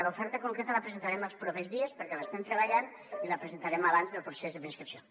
l’oferta concreta la presentarem els propers dies perquè l’estem treballant i la presentarem abans del procés de preinscripció